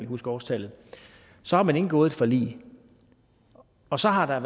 huske årstallet så har man indgået et forlig og så har der